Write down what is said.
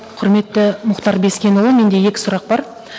құрметті мұхтар бескенұлы менде екі сұрақ бар